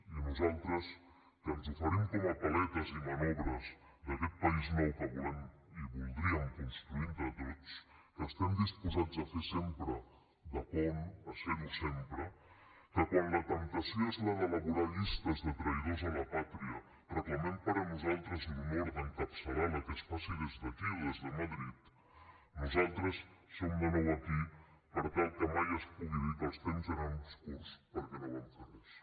i nosaltres que ens oferim com a paletes i manobres d’aquest país nou que volem i voldríem construir entre tots que estem disposats a fer sempre de pont a serho sempre que quan la temptació és la d’elaborar llistes de traïdors a la pàtria reclamem per a nosaltres l’honor d’encapçalar la que es faci des d’aquí o des de madrid nosaltres som de nou aquí per tal que mai es pugui dir que els temps eren obscurs perquè no vam fer res